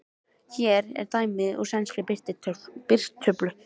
Hér er dæmi úr sænskri birtutöflu